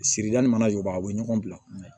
Sirida ni mana jɔban a bɛ ɲɔgɔn bila